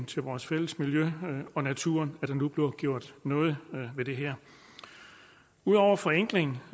til vores fælles miljø og natur at der nu bliver gjort noget ved det her ud over forenkling